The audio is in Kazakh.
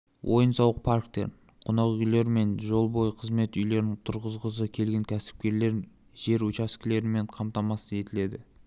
ойын-сауық парктерін қонақүйлер мен жол бойы қызмет үйлерін тұрғызғысы келген кәсіпкерлер жер учаскелерімен қамтамасыз етіледі